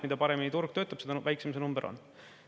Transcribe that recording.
Mida paremini turg töötab, seda väiksem see number on.